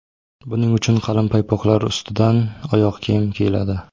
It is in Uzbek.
Buning uchun qalin paypoqlar ustidan oyoq kiyim kiyiladi.